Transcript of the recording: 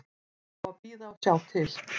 Það á að bíða og sjá til.